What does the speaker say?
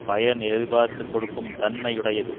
பயன் எதிர்பார்த்து கொடுக்கும் தன்மை உடையது